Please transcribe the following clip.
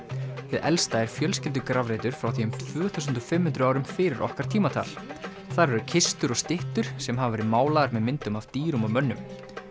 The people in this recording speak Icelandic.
hið elsta er fjölskyldugrafreitur frá því um tvö þúsund og fimm hundruð árum fyrir okkar tímatal þar eru kistur og styttur sem hafa verið málaðar með myndum af dýrum og mönnum